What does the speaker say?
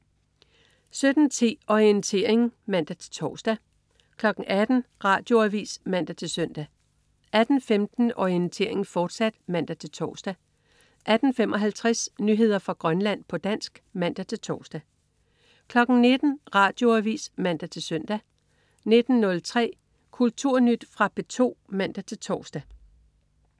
17.10 Orientering (man-tors) 18.00 Radioavis (man-søn) 18.15 Orientering, fortsat (man-tors) 18.55 Nyheder fra Grønland, på dansk (man-tors) 19.00 Radioavis (man-søn) 19.03 Kulturnyt. Fra P2 (man-tors)